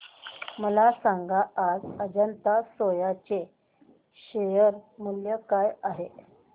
मला सांगा आज अजंता सोया चे शेअर मूल्य काय आहे